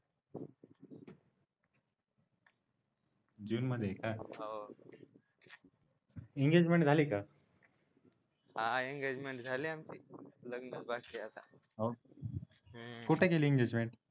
जून मध्ये आहे काय एंगेजमेंट झाली का हा इंगेजमेंट झाली आमची लग्नच बाकी आहे आता हो का कुठे गेली एंगेजमेंट